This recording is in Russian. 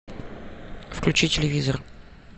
включи телевизор